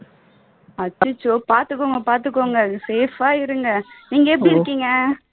அச்சச்சோ பாத்துக்கோங்க பாத்துக்கோங்க safe ஆ இருங்க நீங்க எப்படி இருக்கீங்க?